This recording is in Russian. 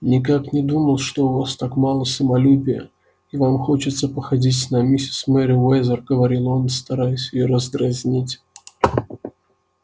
никак не думал что у вас так мало самолюбия и вам хочется походить на миссис мерриуэзер говорил он стараясь её раздразнить